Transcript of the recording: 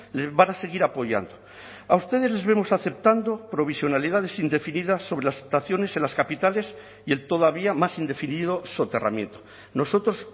le van a seguir apoyando a ustedes les vemos aceptando provisionalidades indefinidas sobre las estaciones en las capitales y el todavía más indefinido soterramiento nosotros